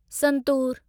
santoor